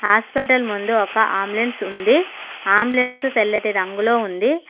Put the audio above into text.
Hospital ముందు ఒక ambulance ఉంది అంబులెన్స్ తెల్లటి రంగులో ఉంది.